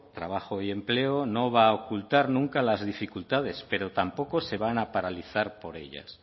trabajo y empleo no va a ocultar nunca las dificultades pero tampoco se van a paralizar por ellas